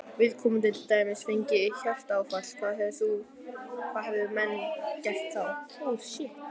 Viðkomandi til dæmis fengi hjartaáfall, hvað hefðu menn gert þá?